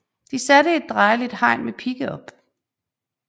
De satte et drejeligt hegn med pigge op